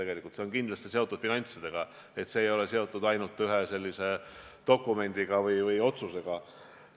See on kindlasti seotud finantsidega, see ei ole seotud ainult ühe dokumendi või otsusega.